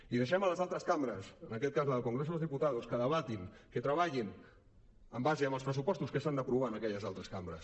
i deixem les altres cambres en aquest cas la del congreso de los diputados que debatin que treballin en base als pressupostos que s’han d’aprovar en aquelles cambres